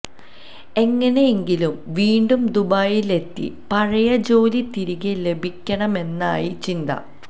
എങ്ങനെയെങ്കിലും വീണ്ടും ദുബായിലെത്തി പഴയ ജോലി തിരികെ ലഭിക്കണമെന്നായി ചിന്ത